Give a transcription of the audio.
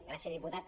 gràcies diputat